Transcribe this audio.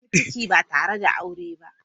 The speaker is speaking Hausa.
Ta samu ciki ba tare da aure ba.